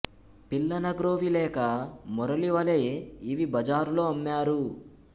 పిల్లన గ్రోవి లేక మురళి వలె ఇవి బజారులో అమ్మరు